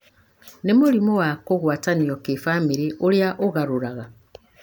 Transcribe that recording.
nĩ mũrimũ wa kũgwatanio kĩbamĩrĩ ũrĩá ũgarũraga